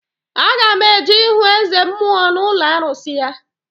Aga m eje ihu Eze mmụọ n'ụlọ arụsị ya